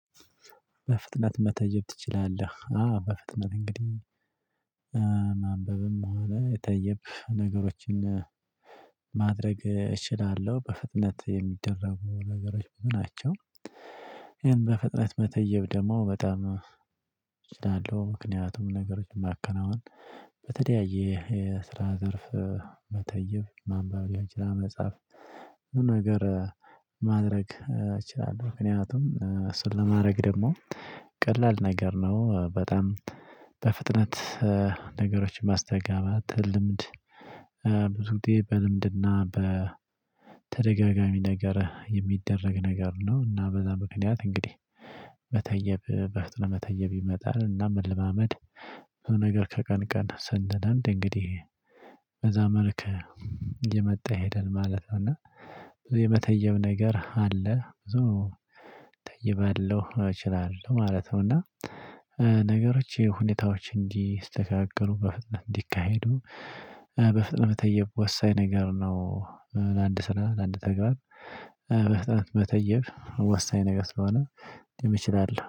በፍጥነት መተየብ ትችላለህ? አዎ በፍጥነት እንግዲህ ማንበብም በኋላ የተየብህ ነገሮችን ማድረግ እችላለሁ በፍጥነት የሚደረጉ ነገሮች ምን ናቸው? ይሄን በፍጥነት መተየብ ደግሞ በጣም እችላለሁ። ምክንያቱም ነገሮችን ማከናወን በተደያየ የስራ ዘርፍ መተየብ ማንበብ የመጻፍ መጽሐፍ ነገር ማድረግ እችላለሁ። ምክንያቱም ስለማድረግ ደግሞ ቀላል ነገር ነው። በጣም በፍጥነት ነገሮች ማስተጋባት ልምድ። ብዙ ጥዬ በልምድና በተደጋጋሚ ነገር የሚደረግ ነገር ነው። እና በዛ ምክንያት እንግዲህ መተየብ በፍጥነት መተየብ ይመጣል። እና መለማመድ ነገር ከቀን ቀን ሰንለምድ እንግዲህ በዛመልከ እመጣ ይሄዳል ማለት ነው። እና የመተየም ነገር አለ ብዙ ተይባለሁ እችላለሁ ማለት ነው። እና ነገሮች ሁኔታዎች እንዲስተካከሉ በፍጥነት እንዲካሄዱ በፍጥነት መተየብ ወሳኝ ነገር ነው። ለአንድ ስራ ለአንድ ተግባር በፍጥነት መተየብ ወሳኝ ነገር ስለሆነ እኔም እችላለሁ